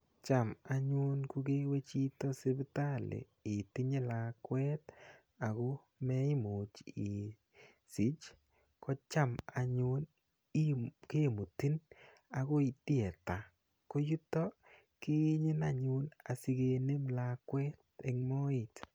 Cham anyun ko kewe chito sipitali itinye lakwet ago meimuch isich, kocham anyun kemutin agoi theatre. Ko yuto keyenyin anyun sigenin lakwet eng moet.